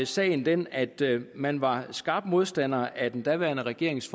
sagen den at man var skarp modstander af den daværende regerings